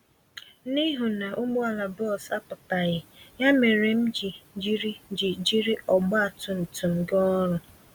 N'ihu na ụgbọala bus apụtaghị, ya méré m ji jiri ji jiri ọgba tum tum gaa ọrụ.